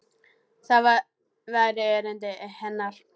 Það væri erindi hennar.